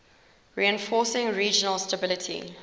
reinforcing regional stability